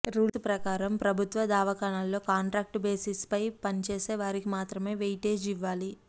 rules ప్రకారం ప్రభుత్వ దవాఖాన్లలో కాంట్రాక్ట్ బేసిస్పై పనిచేసే వారికి మాత్రమే వెయిటేజీ ఇవ్వాలి